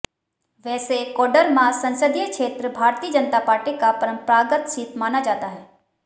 वैसे कोडरमा संसदीय क्षेत्र भारतीय जनता पार्टी का परंपरागत सीट माना जाता है